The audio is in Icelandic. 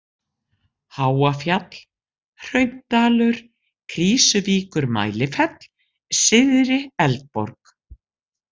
Háafjall, Hraundalur, Krýsuvíkur-Mælifell, Syðri-Eldborg